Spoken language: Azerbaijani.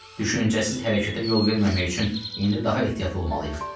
Düşüncəsiz hərəkətə yol verməmək üçün indi daha ehtiyatlı olmalıyıq.